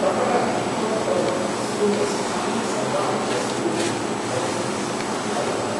ततः भीतौ तौ स्यूतस्थानि सर्वाणि वस्तूनि बहिः स्थापितवन्तौ ।